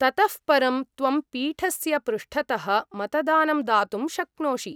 ततः परं त्वं पीठस्य पृष्ठतः मतदानं दातुं शक्नोषि।